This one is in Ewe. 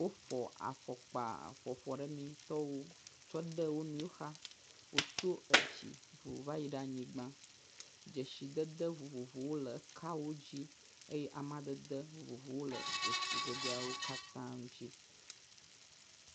Woƒo afɔkpa ƒoafɔɖemetɔwo tsɔ de wo nɔewo xa. Tsɔ tso edzi va yi anyigba, dzesidede vovovowo le kawo dzi eye amadede vovovowo hã le dzesidedeawo dzi.